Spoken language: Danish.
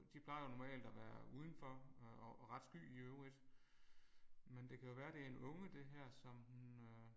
De plejer jo normalt at være udenfor og og ret sky i øvrigt. Men det kan jo være det en unge det her som hun øh